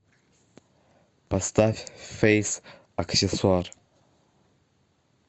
поставь фэйс аксессуар